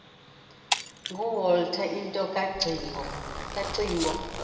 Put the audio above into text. nguwalter into kacingo